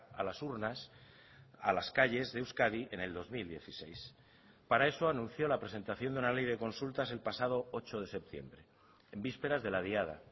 a las urnas a las calles de euskadi en el dos mil dieciséis para eso anunció la presentación de una ley de consultas el pasado ocho de septiembre en vísperas de la diada